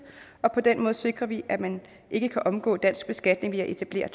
og på den måde sikrer vi at man ikke kan omgå dansk beskatning ved at etablere